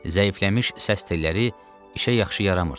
Zəifləmiş səs telləri işə yaxşı yaramırdı.